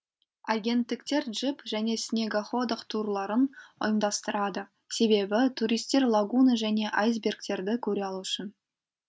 агенттіктер джип және снегоходах турларын ұйымдастырады себебі туристтер лагуна және айсбергтерді көре алу үшін